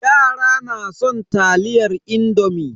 Yara na son taliyar indomi.